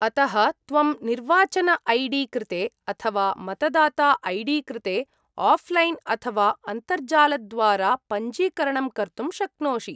अतः त्वं निर्वाचन ऐ डी कृते अथवा मतदाता ऐ डी कृते आफ्लैन् अथवा अन्तर्जालद्वारा पञ्जीकरणं कर्तुं शक्नोषि।